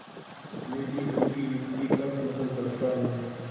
मैं भी उनकी युक्ति का समर्थन करता हूँ